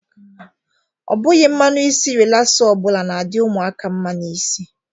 Ọ bụghi mmanụ isi relasa ọbụla na-adị ụmụaka mma n'isi.